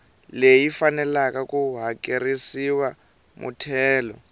leyi faneleke ku hakerisiwa muthelo